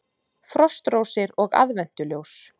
Frostrósir og aðventuljós